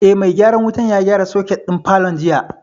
Eh, mai gyaran wutan ya gyara soket din falon jiya